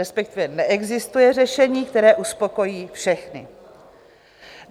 respektive neexistuje řešení, které uspokojí všechny.